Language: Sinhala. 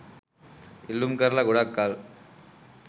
ඉල්ලුම් කරලා ගොඩක්‌ කල්